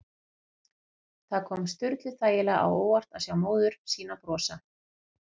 Það kom Sturlu þægilega á óvart að sjá móður sína brosa.